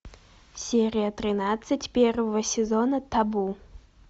серия тринадцать первого сезона табу